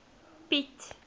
piet